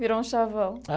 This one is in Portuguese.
Virou um chavão.